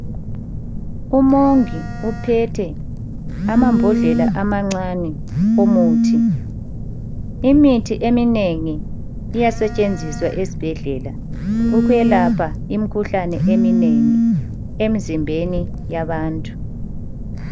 Umongi uphethe amambodlela amancane omuthi. Imitshina eminengi iyasetshenziswa esibhedlela ukwelapha imikhuhlane eminengi emzimbeni yabantu.